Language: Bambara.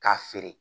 K'a feere